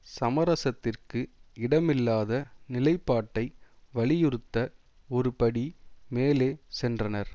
சமரசத்திற்கு இடமில்லாத நிலைப்பாட்டை வலியுறுத்த ஒரு படி மேலே சென்றனர்